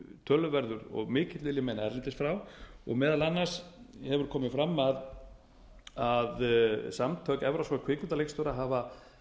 töluverður og mikill vil ég meina erlendis frá og meðal annars hefur komið fram að samtök evrópskra kvikmyndaleikstjóra hafa